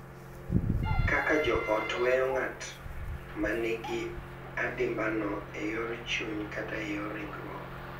Kaka jo ot weyo ng’at ma nigi adimbano e yor chuny kata e yor ringruok.